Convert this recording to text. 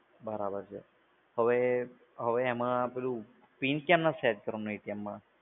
બરાબર છે. હવે એમા PIN કેમ સેટ કરવો માં?